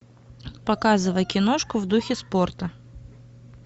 показывай киношку в духе спорта